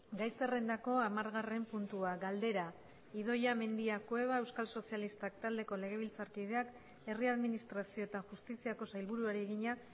gai zerrendako hamargarren puntua galdera idoia mendia cueva euskal sozialistak taldeko legebiltzarkideak herri administrazio eta justiziako sailburuari egina